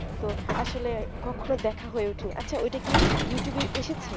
তো আসলে কখনো দেখা হয়ে ওঠেনি আচ্ছা এটা কি you tube